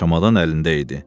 Çamadan əlində idi.